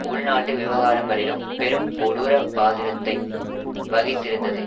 உள்நாட்டு விவகாரங்களிலும் பெரும் கொடூரப் பாதிரத்தை வகித்திருந்தது